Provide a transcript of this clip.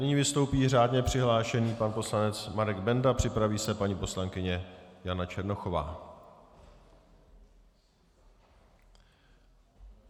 Nyní vystoupí řádně přihlášený pan poslanec Marek Benda, připraví se paní poslankyně Jana Černochová.